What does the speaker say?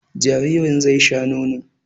Jaririn zai sha nono